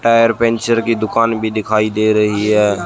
Tyre puncture की दुकान भी दिखाई दे रही है।